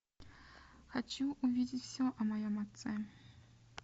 хочу увидеть все о моем отце